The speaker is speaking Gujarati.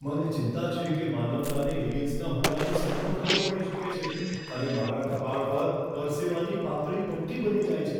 મને ચિંતા છે કે માનવતાને એલિયન્સના હુમલાનો સામનો કરવો પડી શકે છે અને મારા કપાળ પર પરસેવાની પાતળી પટ્ટી બની જાય છે.